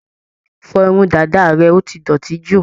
Fọ irun dàda rẹ, ó ti dọ̀tí jù.